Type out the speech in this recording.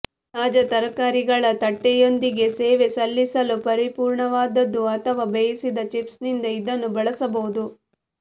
ತಾಜಾ ತರಕಾರಿಗಳ ತಟ್ಟೆಯೊಂದಿಗೆ ಸೇವೆ ಸಲ್ಲಿಸಲು ಪರಿಪೂರ್ಣವಾದದ್ದು ಅಥವಾ ಬೇಯಿಸಿದ ಚಿಪ್ಸ್ನಿಂದ ಇದನ್ನು ಬಳಸಬಹುದು